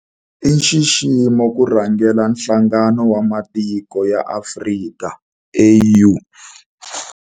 I nxiximo ku rhangela Nhlangano wa Matiko ya Afrika, AU.